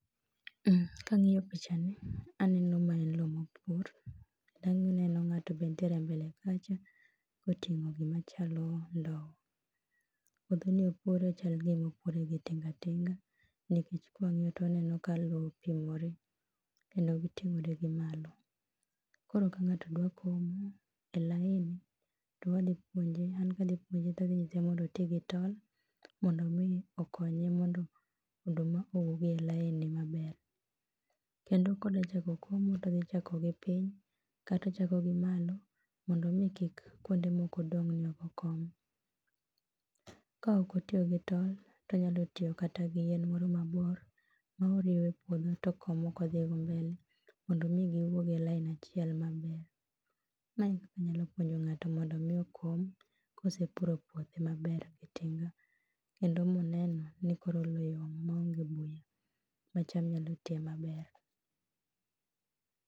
Ka ang'iyo pichani aneno mana lowo ma opur, aneno ng'ato bende nitiere mbele kacha koting'o gima chalo ndowo. Puodhoni opure to chal gima opure gi tinga tinga nikech ka wang'iyo to waneno ka lowo oting'ore kendo giting'ore gi malo. Koro ka ng'ato dwa komo e laini to kwa dwa puonje, an kadwa puonje, to adhi puonje to adhi nyise mondo oti gi tol mondo mi okonye mondo oduma owuog e laini mabr. Kendo kodwa chako komo to odhi chako gi piny kata ochako gi malo mondo mi kuonde moko kik dong' maok okom. Kaok otiyo gi tol, to onyalo tiyo kata gi yien moro mabor moriwo epuodho to okomo ka odhi mbele mondo mi giwuok e laini achiel maber. Mae e kaka anyalo puonjo ng'ato mondo mi okom ka osepuro puothe maber kendo moneno ni koro lowo yom maonge buya ma cham nyalo twi maber.